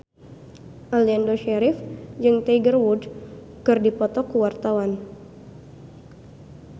Aliando Syarif jeung Tiger Wood keur dipoto ku wartawan